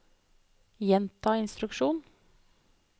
gjenta instruksjon